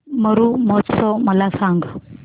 मरु महोत्सव मला सांग